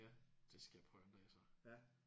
Ja det skal jeg prøve en dag så